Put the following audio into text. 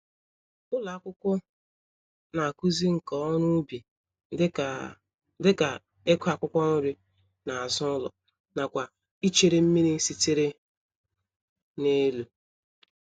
Ụlọ akwụkwọ n'akụzi nka-oru-ubi dịka, dịka, ịkụ̀ akwụkwọ-nri nazụ ụlọ, nakwa ichere mmírí sitere n'elu.